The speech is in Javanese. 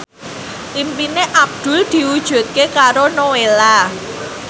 impine Abdul diwujudke karo Nowela